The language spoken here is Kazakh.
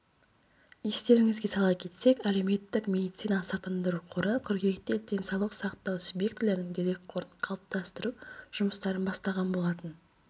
естеріңізге сала кетсек әлеуметтік медициналық сақтандыру қоры қыркүйекте денсаулық сақтау субъектілерінің дерекқорын қалыптастыру жұмыстарын бастаған болатын